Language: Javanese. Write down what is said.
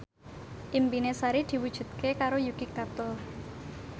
impine Sari diwujudke karo Yuki Kato